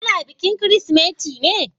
Ana bikin Kirsimeti ne?